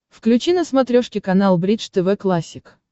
включи на смотрешке канал бридж тв классик